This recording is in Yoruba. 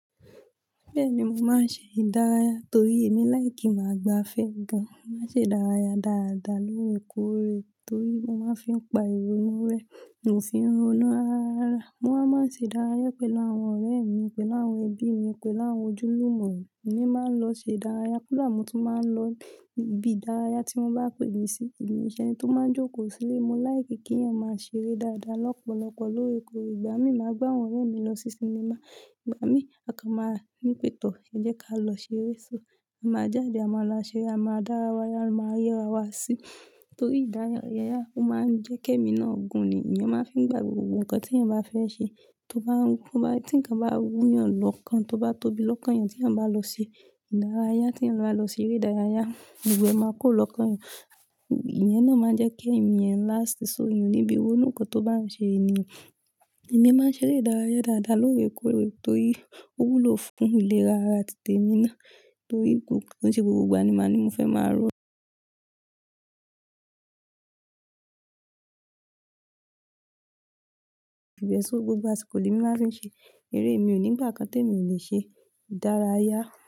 Bẹ́ẹ̀ni, mo máa ń ṣe ìdárayá torí èmi láì kí máa gba afẹ́ gan. Mo máa ń ṣe ìdárayá dáadáa lóòrèkóòrè torí mo máa ń fi pa ìrònú rẹ̀, mo fi ń ronú ara ara. Mo á máa ṣe ìdárayá pẹ̀lú àwọn ọ̀rẹ́ mi, pẹ̀lú àwọn ẹbí mi, pẹ̀lú àwọn ojúlùmọ̀ mi. Èmi máa ń lọ ṣe ìdárayá, kodá mo tun maá n lọ ibi ìdárayá tí wọ́n bá pè mí sí. Èmi o ṣe ẹni tó máa ń jókòó sílé, mo láì kí kí èèyàn máa ṣeré dáadáa lọ́pọ̀lọpọ̀ lóòrèkóòrè. Ìgbà mí máa gbá àwọn ọ̀rẹ́ mi lọ sí sinimá, ìgbà mí a kan máa ní pe tọ́, ẹ jẹ́ ká lọ ṣeré. So, a máa jáde, a máa lọ ṣeré, a máa dárayá, a máa yẹra wa sí torí ìdárayá, ó máa ń jẹ́ kí ẹmi náà gùn ni. Le mi máa ń fi gbà gbogbo nǹkan tí èèyàn bá fẹ́ ṣe tó bá ń wú, tí nǹkan bá ń wú yàn lọ́kàn, tó bá tóbi lọ́kàn èèyàn tí èèyàn bá lọ ṣe ìdárayá, tí èèyàn bá lọ ṣeré ìdárayá, gbogbo ẹ máa kúrò lọ́kàn èèyàn. Ìyẹn náà máa ń jẹ́ kí ẹmí yan lásti sọ òun níbi ronu nkan tó bá ń ṣe ènìyàn. Ìmi máa ń ṣeré ìdárayá dáadáa lóòrèkóòrè torí ó wúlò fún ìlera ara ti tèmi náà torí ko i ṣe gbogbo ìgbà ni màá ní mo fẹ́ máa ro. Gbogbo àṣìkò ni emi màá fi ń ṣe. Eré mi ò ní ìgbà kan tí èmi ò lè ṣe ìdárayá.